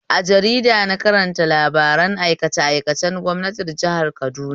A jarida na karanta labaran aikace aikacen gwamnatin jihar Kaduna